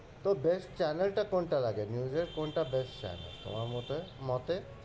তোর best channel টা কোনটা লাগে? news এর? কোনটা best channel তোমার মতে?